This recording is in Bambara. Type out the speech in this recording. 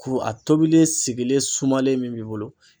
Kuru a tobilen sigilen sumalen min b'i bolo.